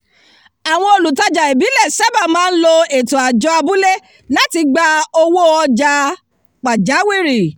àwọn olùtajà ìbílẹ̀ sábà máa ń lo ètò àjọ abúlé láti gba owó ọjà pàjáwìrì